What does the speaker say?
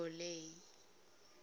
ole